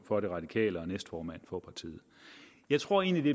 for de radikale og næstformand for partiet jeg tror egentlig